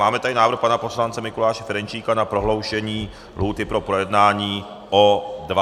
Máme tady návrh pan poslance Mikuláše Ferjenčíka na prodloužení lhůty pro projednání o 20dnů.